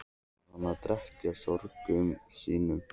Var hann að drekkja sorgum sínum?